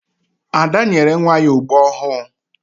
Ada nyere nwa ya ogbo ọhụụ.